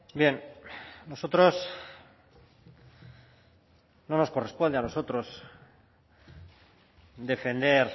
bien nosotros no nos corresponde a nosotros defender